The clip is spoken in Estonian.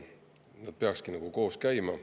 Need peakski koos käima.